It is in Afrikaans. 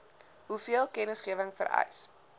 hoeveel kennisgewing vereis